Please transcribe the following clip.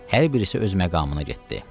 Hər birisi öz məqamına getdi.